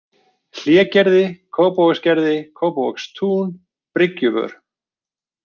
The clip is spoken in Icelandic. Hlégerði, Kópavogsgerði, Kópavogstún, Bryggjuvör